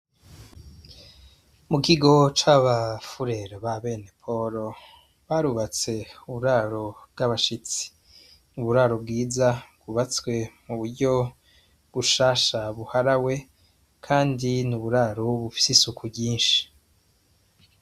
Mu kigo c'abafurero b'abene Poro, barubatse uburaro bw'abashitsi. Uburaro bwiza bwubatswe mu buryo bushasha buharawe kandi ni uburaro bufise isuku ryinshi.